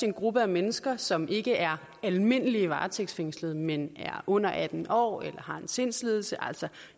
en gruppe mennesker som ikke er almindelige varetægtsfængslede men er under atten år eller har en sindslidelse altså